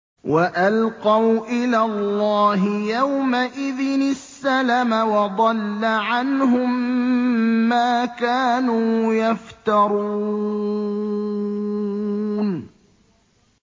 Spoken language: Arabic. وَأَلْقَوْا إِلَى اللَّهِ يَوْمَئِذٍ السَّلَمَ ۖ وَضَلَّ عَنْهُم مَّا كَانُوا يَفْتَرُونَ